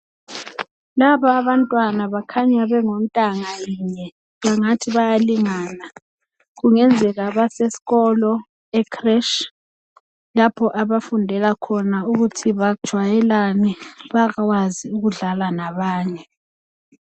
Laba abantwana bakhanya bengontanga lunye bethathi bayalingana kungenzeka baseskholo - ecreche lapho abafundela khona ukuthi bajwayelane bakwazi ukudlala nabanye.